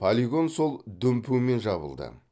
полигон сол дүмпумен жабылды